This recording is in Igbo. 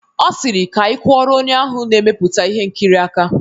Ọ sịrị "Ka anyị kụọrọ onye ahụ na-emepụta ihe nkiri aka"